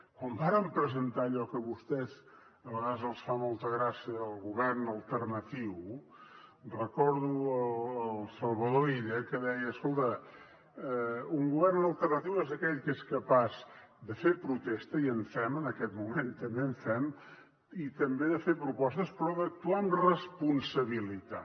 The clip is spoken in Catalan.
quan vàrem presentar allò que a vostès a vegades els fa molta gràcia del govern alternatiu recordo el salvador illa que deia escolta un govern alternatiu és aquell que és capaç de fer protesta i en fem en aquest moment també en fem i també de fer propostes però d’actuar amb responsabilitat